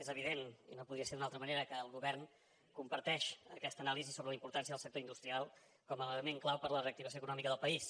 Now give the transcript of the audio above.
és evident i no podia ser d’una altra manera que el govern comparteix aquesta anàlisi sobre la importància del sector industrial com a element clau per a la reactivació econòmica del país